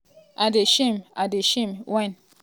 i um dey shame i dey shame wen